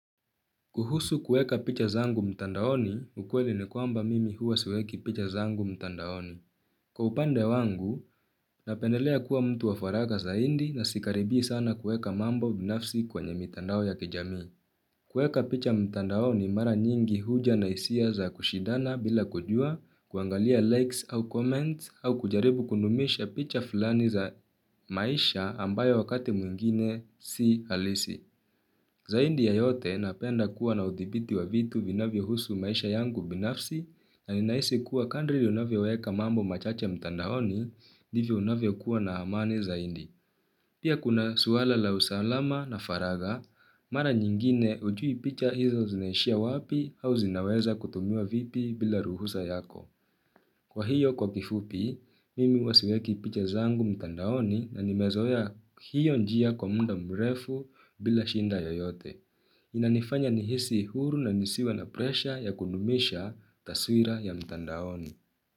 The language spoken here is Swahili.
Kuhusu kueka picha zangu mtandaoni, ukweli ni kwamba mimi huwa siweki picha zangu mtandaoni. Kwa upande wangu, napendelea kuwa mtu wa faraka zaindi na sikaribi sana kueka mambo binafsi kwenye mtandao ya kijami. Kueka picha mtandaoni mara nyingi huja na isia za kushidana bila kujua, kuangalia likes au comments au kujaribu kundumisha picha fulani za maisha ambayo wakati mwingine si halisi. Zaindi ya yote napenda kuwa na udhibiti wa vitu vinavyo husu maisha yangu binafsi na ninahisi kuwa kandri unavyoweka mambo machache mtandaoni ndivyo unavyo kuwa na amani zaindi. Pia kuna suwala la usalama na faraga, mara nyingine ujui picha hizo zinaishia wapi au zinaweza kutumiwa vipi bila ruhusa yako. Kwa hiyo kwa kifupi, mimi huwa siweki picha zangu mtandaoni na nimezoea hiyo njia kwa munda mrefu bila shinda yoyote. Inanifanya nihisi huru na nisiwe na presha ya kundumisha taswira ya mtandaoni.